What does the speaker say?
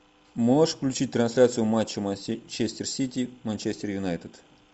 можешь включить трансляцию матча манчестер сити манчестер юнайтед